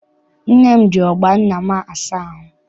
Nne m ji ọgbọ nna m asa ahụ.